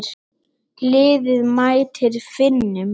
Liðið mætir Finnum.